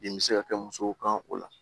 Den bɛ se ka kɛ musow kan o la